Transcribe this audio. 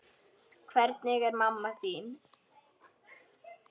Hvernig er mamma þín?